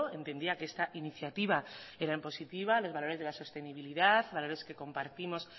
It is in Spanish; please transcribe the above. entendía que esta iniciativa era en positivo los valores de la sostenibilidad valores que compartimos